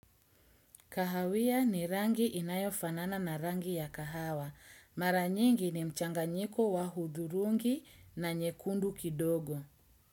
Kahawia ni rangi inayofanana na rangi ya kahawa. Mara nyingi ni mchanganyiko wa hudhurungi na nyekundu kidogo.